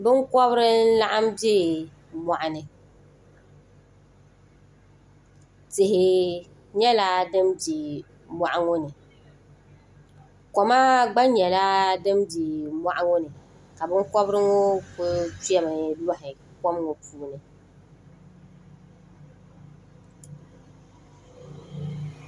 Binkɔbiri n laɣim bɛ mɔɣu ni tihi nyɛla dini bɛ mɔɣu ŋɔ ni koma gba nyɛla din bɛ mɔɣu ŋɔ ni ka binkɔbiri ŋɔ kuli kpɛ mi n lɔhi kom ŋɔ puuni.